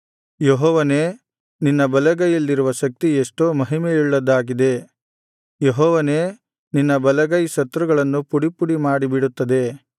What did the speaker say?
ಯೆಹೋವನೇ ನಿನ್ನ ಬಲಗೈಯಲ್ಲಿರುವ ಶಕ್ತಿ ಎಷ್ಟೋ ಮಹಿಮೆಯುಳ್ಳದ್ದಾಗಿದೆ ಯೆಹೋವನೇ ನಿನ್ನ ಬಲಗೈ ಶತ್ರುಗಳನ್ನು ಪುಡಿಪುಡಿಮಾಡಿಬಿಡುತ್ತದೆ